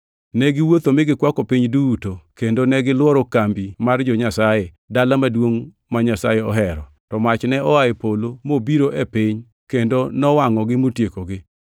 Ne giwuotho mi gikwako piny duto, kendo negilworo kambi mar jo-Nyasaye, dala maduongʼ ma Nyasaye ohero. To mach ne oa e polo mobiro e piny kendo nowangʼogi motiekogi.